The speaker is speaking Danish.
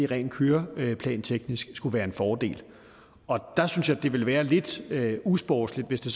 rent køreplanteknisk skulle være en fordel og der synes jeg det ville være lidt usportsligt hvis det